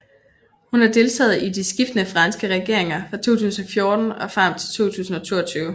Hun har deltaget i de skiftende franske regeringer fra 2014 frem til 2022